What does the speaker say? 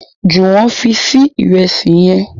Juwon fí Sí Ìrẹsí yén